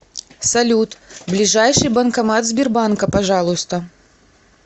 салют ближайший банкомат сбербанка пожалуйста